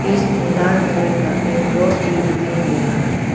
इसमें लाल कलर का एक रॉस भी दिखाई दे रहा है।